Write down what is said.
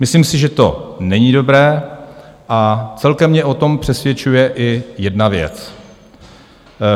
Myslím si, že to není dobré, a celkem mě o tom přesvědčuje i jedna věc.